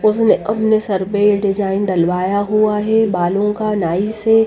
उसने हमने सर पे डिजाइन दलवाया हुआ है बालों का नाइस से--